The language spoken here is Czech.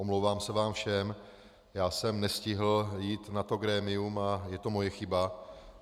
Omlouvám se vám všem, já jsem nestihl jít na to grémium a je to moje chyba.